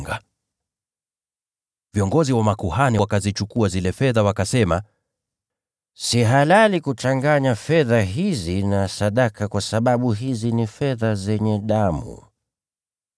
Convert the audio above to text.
Wale viongozi wa makuhani wakazichukua zile fedha wakasema, “Si halali kuchanganya fedha hizi na sadaka kwa sababu hizi ni fedha zenye damu.”